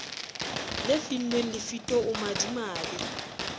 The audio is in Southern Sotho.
le finnweng lefito o madimabe